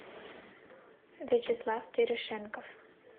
вячеслав терешенков